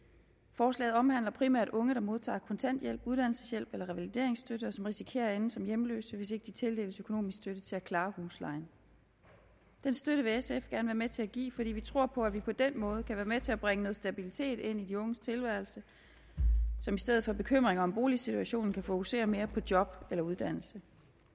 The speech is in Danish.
forslaget omhandler primært unge der modtager kontanthjælp uddannelseshjælp eller revalideringsstøtte og som risikerer at ende som hjemløse hvis ikke de tildeles økonomisk støtte til at klare huslejen den støtte vil sf gerne være med til at give fordi vi tror på at vi på den måde kan være med til at bringe noget stabilitet ind i de unges tilværelse som i stedet for bekymringer om boligsituationen kan fokusere mere på job eller uddannelse